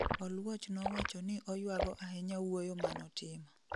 oluoch nowachoni oyuago ahnya wuoyo manotimo